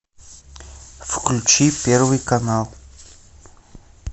включи первый канал